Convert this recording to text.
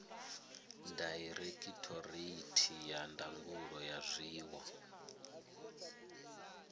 dairekhithoreithi ya ndangulo ya zwiwo